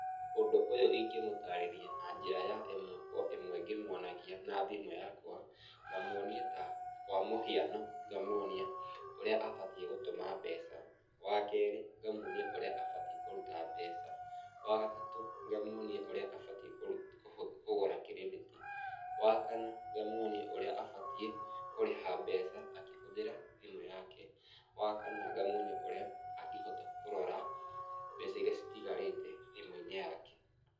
Ũndũ ũyũ ingĩmũtarĩria na njĩra ya ĩmwe kwa ĩmwe ngĩmuonagia na thimũ yakwa, ngamuonia ta kwa muhiano ngamuonia ũrĩa abatiĩ gũtũma mbeca. Wa keerĩ ngamuonia ũrĩa abatiĩ kũruta mbeca. Wa gatatũ ngamuonia ũrĩa abatiĩ kũruta, kũgũra kirĩndĩti. Wa kana ngamuonia ũrĩa abatiĩ kũrĩha mbeca akĩhũthĩra thimũ yake. Wa kana ngamuonia ũrĩa angĩhota kũrora mbeca irĩa citigarĩte thimũ-inĩ yake.